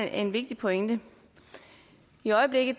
er en vigtig pointe i øjeblikket